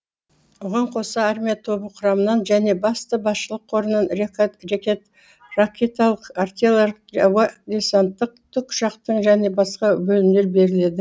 оған коса армия тобы құрамынан және басты басшылық корынан ракеталық артилар ауа десанттық тік ұшақтық және басқа бөлімдер беріледі